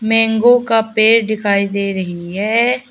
Mango का पेड़ दिखाई दे रही है।